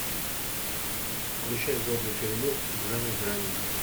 включай годный фильмок в жанре драмеди